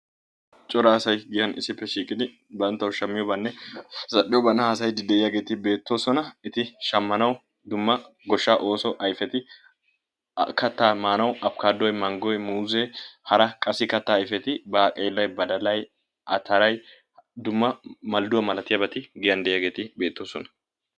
cora asay giyan issippe shiiqid banttawu shammiyoobanne zal'iyoobaa haasayiidi beetoososna eti shammanay dumma goshshaa ooso ayfeti qassi kataa maanawu afkaatoy manggoy, muuzzee, hara dumma kataa ayfeti malduwa malatiyageeti giyan diyageeti beetoosona.